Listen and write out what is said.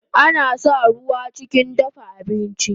Ana sa ruwa chikin dafa abinchi